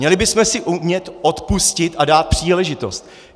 Měli bychom si umět odpustit a dát příležitost.